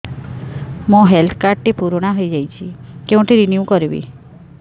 ମୋ health card ଟି ପୁରୁଣା ହେଇଯାଇଛି କେଉଁଠି ରିନିଉ କରିବି